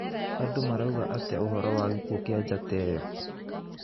Andũ marauga atĩa ũhoro wa gĩkuũ kĩa njata ĩyo?